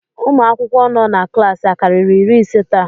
Ụmụ akwụkwọ nọ na klaasị akarịrị iri ise taa?